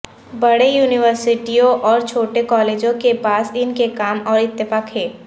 بڑے یونیورسٹیوں اور چھوٹے کالجوں کے پاس ان کے کام اور اتفاق ہے